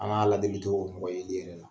An ka ala deli tɛ o kura yeli ye dɛ!